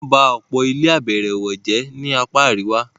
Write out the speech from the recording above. wọ́n bá ọ̀pọ̀ ilé -àbẹ̀ẹ̀rẹ̀wọ̀ jẹ́ ni apá àríwá.